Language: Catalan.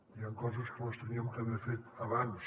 hi ha coses que les havíem d’haver fet abans